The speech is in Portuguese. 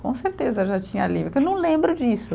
Com certeza eu já tinha livro, que eu não lembro disso.